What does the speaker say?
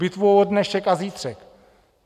Bitvu o dnešek a zítřek.